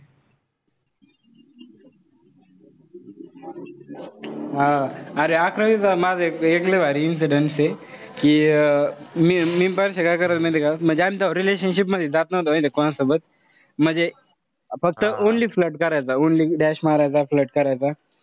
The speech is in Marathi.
हा अरे अकरावीचा माझा एक लय भारी incidence ए. कि अं मी-मी काय करायचो माहितीये का. म्हणजे आमचं relationship मध्ये जात नव्हतं बरं का कोणासोबत. म्हणजे, फक्त only flirt करायचा. only dash मारायचा, flirt करायचा.